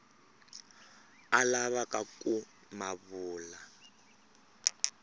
a lavaka ku ma vula